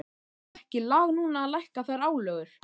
Væri ekki lag núna að lækka þær álögur?